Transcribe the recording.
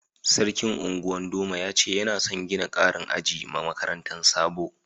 Sarkin Ungwan doma ya ce yana son gina karin aji ma makarantan Sabo.